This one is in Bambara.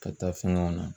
Ka taa fɛngɛw na